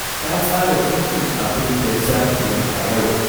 Ta tsara dukkan abin da za ta yi a yau